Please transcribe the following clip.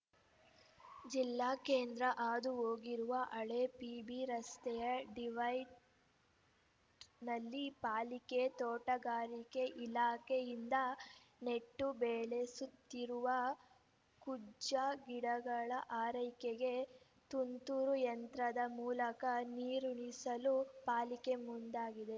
ಜಿಲ್ಲಾ ಕೇಂದ್ರ ಹಾದು ಹೋಗಿರುವ ಹಳೆ ಪಿಬಿರಸ್ತೆಯ ಡಿವೈಡ್ ನಲ್ಲಿ ಪಾಲಿಕೆ ತೋಟಗಾರಿಕೆ ಇಲಾಖೆಯಿಂದ ನೆಟ್ಟು ಬೆಳೆಸುತ್ತಿರುವ ಕುಜ್ಜ ಗಿಡಗಳ ಆರೈಕೆಗೆ ತುಂತುರು ಯಂತ್ರದ ಮೂಲಕ ನೀರುಣಿಸಲು ಪಾಲಿಕೆ ಮುಂದಾಗಿದೆ